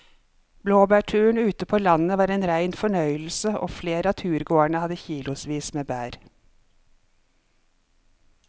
Blåbærturen ute på landet var en rein fornøyelse og flere av turgåerene hadde kilosvis med bær.